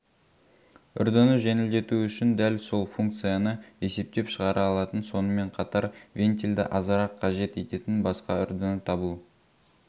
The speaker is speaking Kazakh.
үрдіні жеңілдету үшін дәл сол функцияны есептеп шығара алатын сонымен қатар вентельді азырақ қажет ететін басқа үрдіні табу